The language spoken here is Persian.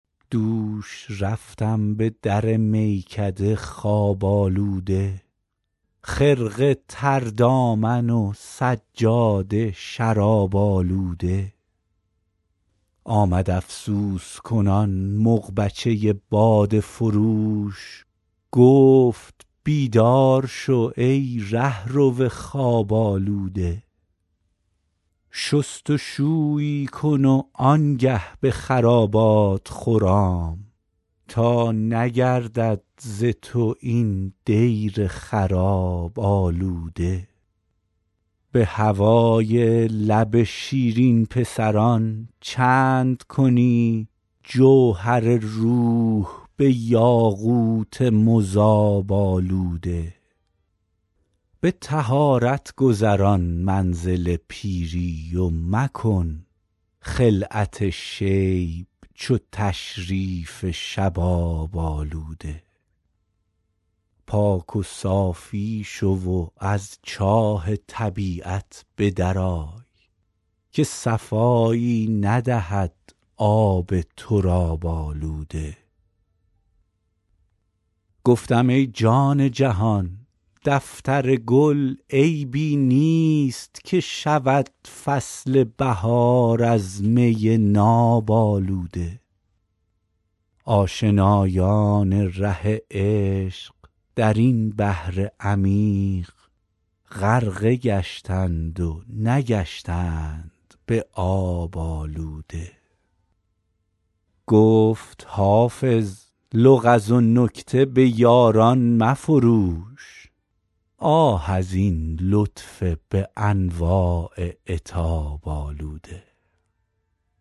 دوش رفتم به در میکده خواب آلوده خرقه تر دامن و سجاده شراب آلوده آمد افسوس کنان مغبچه باده فروش گفت بیدار شو ای رهرو خواب آلوده شست و شویی کن و آن گه به خرابات خرام تا نگردد ز تو این دیر خراب آلوده به هوای لب شیرین پسران چند کنی جوهر روح به یاقوت مذاب آلوده به طهارت گذران منزل پیری و مکن خلعت شیب چو تشریف شباب آلوده پاک و صافی شو و از چاه طبیعت به در آی که صفایی ندهد آب تراب آلوده گفتم ای جان جهان دفتر گل عیبی نیست که شود فصل بهار از می ناب آلوده آشنایان ره عشق در این بحر عمیق غرقه گشتند و نگشتند به آب آلوده گفت حافظ لغز و نکته به یاران مفروش آه از این لطف به انواع عتاب آلوده